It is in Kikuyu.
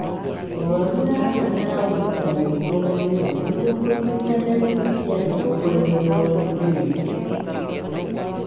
Mũrwaru nĩarabatara ũrigitani wĩkũranĩire nĩguo kũrigita ndariri cia higo kũremererwo nĩ wĩra